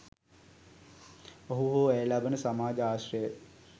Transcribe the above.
ඔහු හෝ ඇය ලබන සමාජ ආශ්‍රයයි.